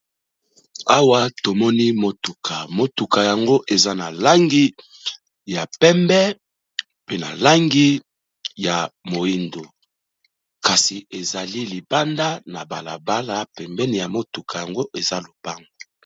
Awa tomoni motuka. Motuka yango eza na langi ya pembé, pe na langi ya moyindo kasi ezali libanda na balabala pembeni ya motuka yango eza lopango.